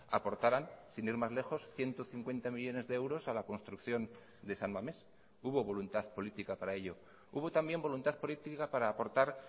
aportaran sin ir más lejos ciento cincuenta millónes de euros a la construcción de san mamés hubo voluntad política para ello hubo también voluntad política para aportar